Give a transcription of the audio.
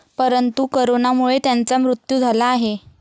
परंतु करोनामुळे त्यांचा मृत्यू झाला आहे.